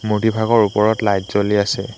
মূৰ্ত্তিভাগৰ ওপৰত লাইট জ্বলি আছে।